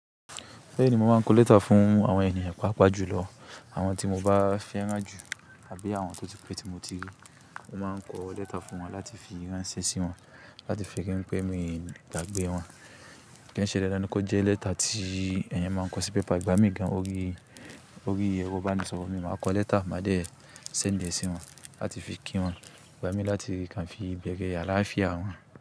Bẹ́ẹ̀ni, mo máa ń kọ lẹ́tà fún àwọn ènìyàn pàápàá jùlọ, àwọn tí mo bá fẹ́ rán ju àbí àwọn tó ti pé tí mo ti rí. Mo máa ń kọ lẹ́tà fún wọn láti fi ránṣẹ́ sí wọn, láti fi ri n pé mi gbàgbé wọn. Kí n ṣe dandan ni kó jẹ́ lẹ́tà tí ẹ̀yẹn máa ń kọ sí pépà ìgbámí gan-an orí, orí ero ibánisọ̀rọ̀. Eni máa kọ lẹ́tà, màá dẹ̀ send e sí wọn láti fi kí wọn igbá mi láti kàn fi ìbẹ̀rẹ̀ àláàfíà wọ́n.